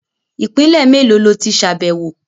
Ìpínlè mélòó lo tí ṣàbẹ̀wọ̀?